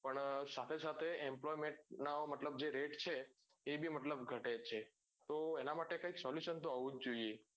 પણ સાથે સાથે employment ના મતલબ જે rate છે એ ભી મતલબ ઘટે છે તો એના માટે કઈક solution તો હોવું જ જોઈએ